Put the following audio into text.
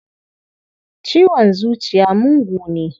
Ciwon zuciya mugu ne.